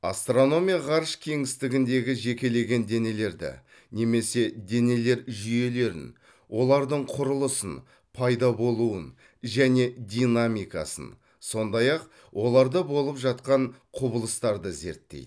астрономия ғарыш кеңістігіндегі жекелеген денелерді немесе денелер жүйелерін олардың құрылысын пайда болуын және динамикасын сондай ақ оларда болып жатқан құбылыстарды зерттейді